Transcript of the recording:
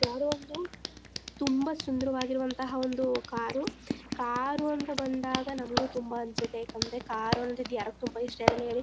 ಒಂದು ತುಂಬಾ ಸುಂದರವಾಗಿರುವಂತಹ ಒಂದು ಕಾರು ಕಾರು ಅಂತ ಬಂದಾಗ ನಮಗೂ ತುಂಬಾ ಅನ್ಸುತ್ತೆ ಯಾಕಂದ್ರೆ ಕಾರು ಅಂದ್ರೆ ಯಾರಿಗ್ ತುಂಬಾ ಇಷ್ಟ ಇರಲ್ಲ ಹೇಳಿ